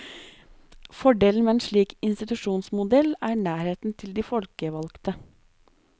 Fordelen med en slik institusjonsmodell er nærheten til de folkevalgte.